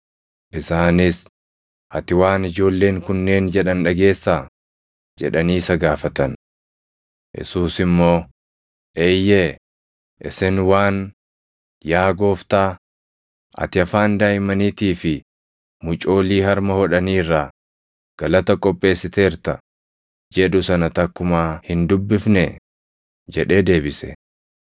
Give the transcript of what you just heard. Isaanis, “Ati waan ijoolleen kunneen jedhan dhageessaa?” jedhanii isa gaafatan. Yesuus immoo, “Eeyyee;” isin waan, “ ‘Yaa Gooftaa, ati afaan daaʼimmaniitii fi mucoolii harma hodhanii irraa, // galata qopheessiteerta’ jedhu sana takkumaa hin dubbifnee?” + 21:16 \+xt Far 8:2\+xt* jedhee deebise.